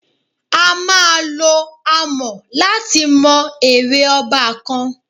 A máa lo àmọ̀ láti mọ ère ọba kan.